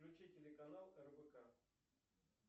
включи телеканал рбк